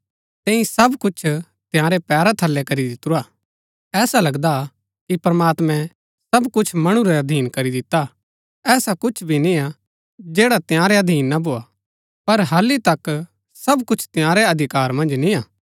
तैंई सब कुछ तंयारै पैरा थलै करी दितुरा ऐसा लगदा हा कि प्रमात्मैं सब कुछ मणु रै अधीन करी दिता ऐसा कुछ भी निय्आ जैड़ा तंयारै अधीन ना भोआ पर हालि तक सब कुछ तंयारै अधिकार मन्ज निय्आ